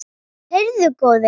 Heyrðu góði!